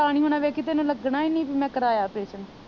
ਪਤਾ ਨਹੀਂ ਹੋਣਾ ਵੇਖੀ ਤੈਨੂੰ ਲੱਗਣਾ ਈ ਨਹੀਂ ਪੀ ਮੈ ਕਰਾਇਆ ਆਪ੍ਰੇਸਨ